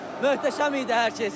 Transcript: Möhtəşəm idi hər kəs.